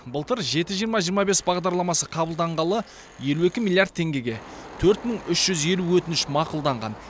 былтыр жеті жиырма жиырма бес бағдарламасы қабылданғалы елу екі миллиард теңгеге төрт мың үш жүз елу өтініш мақұлданған